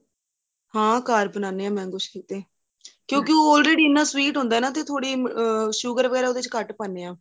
ਹਾਂ ਘਰ ਬਣਾਦੇ ਹਾਂ mango shake ਤੇ ਕਿਉਂਕਿ already ਐਨਾ sweet ਹੁੰਦਾ ਨਾ ਤੇ ਥੋੜੀ ਅਹ sugar ਵਗੇਰਾ ਥੋੜੀ ਘੱਟ ਪਾਂਣੇ ਹਾਂ